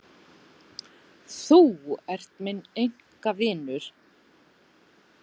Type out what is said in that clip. Þú ert minn einkavinur.